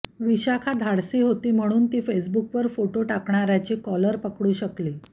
विशाखा धाडशी होती म्हणून ती फेसबुकवर फोटो टाकणाऱ्याची कॉलर पकडू शकली